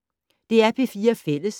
DR P4 Fælles